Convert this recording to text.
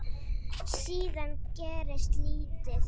Síðan gerist lítið.